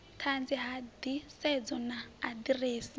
ṱanzi ha nḓisedzo na aḓirese